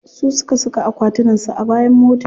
Su suka saka akwatunan su a bayan mota.